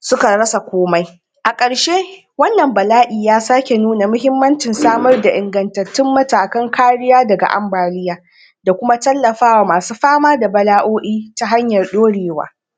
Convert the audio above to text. suka rasa komai a karshe wannan bala'i ya sake nuna muhimmanci samar da ingattatun matakan kariya daga ambaliya da kuma tallafawa masu fama a bala'o'i ta hanyar dorewa